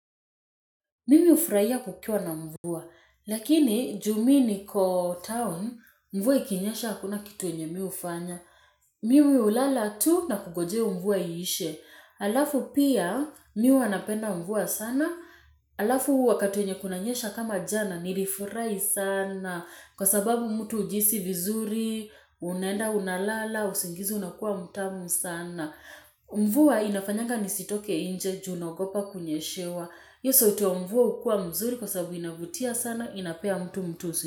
Mimi hufurahia kukiwa na mvua, lakini juu mi niko town, mvua ikinyesha hakuna kitu yenye mi hufanya. Mimi hulala tu na kungojea mvua iishe. Alafu pia mi huwa napenda mvua sana, alafu huu wakati wenye kunanyesha kama jana nilifurahi sana. Kwa sababu mtu hujihisi vizuri, unaenda, unalala, usingizi unakuwa mtamu sana. Mvua inafanyanga nisitoke nje, juu naogopa kunyeshewa. Hio sauti ya mvua hukua mzuri kwa sababu inavutia sana inapea mtu mtusi.